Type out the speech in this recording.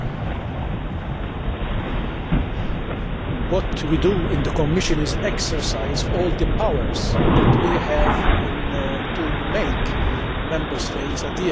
In the Commission we exercise all the powers that we have to make Member States adhere to the directives that are on our statute book.